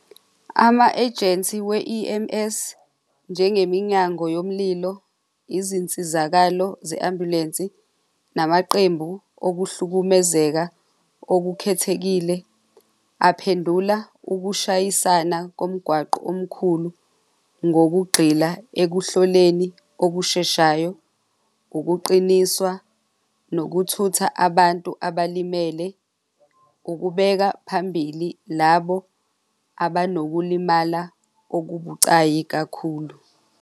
Ama-ejensi we-E_M_S njengeminyango yomlilo, izinsizakalo ze-ambulensi namaqembu okuhlukumezeka okukhethekile aphendukela ukushayisana komgwaqo omkhulu ngokugxila ekuhloleni okusheshayo, ukuqiniswa, nokuthutha abantu abalimele, ukubeka phambili labo abanokulimala okubucayi kakhulu.